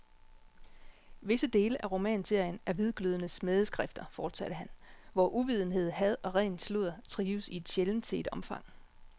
Visse dele af romanserien er hvidglødende smædeskrifter, fortsatte han, hvor uvidenhed, had og ren sludder trives i et sjældent set omfang.